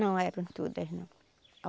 Não eram todas, não.